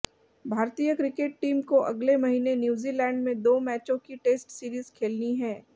भारतीय cricket team को अगले महीने न्यूजीलैंड में दो मैचों की टेस्ट सीरीज खेलनी है